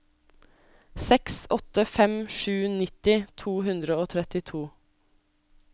seks åtte fem sju nitti to hundre og trettito